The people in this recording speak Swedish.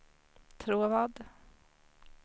Tråvad